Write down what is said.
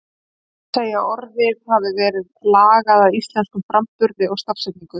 Því má segja að orðið hafi verið lagað að íslenskum framburði og stafsetningu.